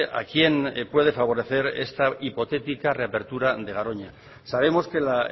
a quién puede favorecer esta hipotética reapertura de garoña sabemos que la